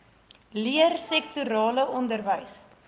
leer sektorale onderwys